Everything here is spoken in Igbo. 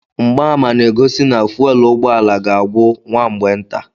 Mgbaàmà na-egosi na fuwel ụgbọala ga-agwụ nwa mgbe nta.